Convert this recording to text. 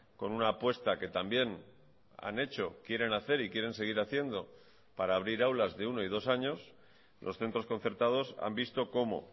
con una apuesta que también han hecho quieren hacer y quieren seguir haciendo para abrir aulas de uno y dos años los centros concertados han visto como